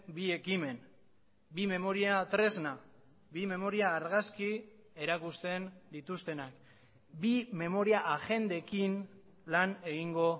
bi ekimen bi memoria tresna bi memoria argazki erakusten dituztenak bi memoria agendekin lan egingo